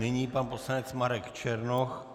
Nyní pan poslanec Marek Černoch.